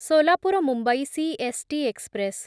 Solapur Mumbai CST express